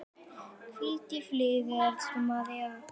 Hvíl í friði, elsku María.